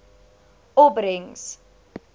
opbrengs